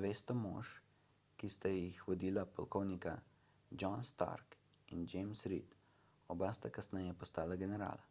200 mož ki sta jih vodila polkovnika john stark in james reed oba sta kasneje postala generala